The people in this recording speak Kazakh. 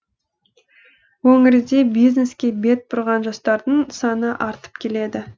өңірде бизнеске бет бұрған жастардың саны артып келеді